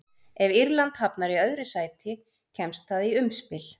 Ef Írland hafnar í öðru sæti kemst það í umspil.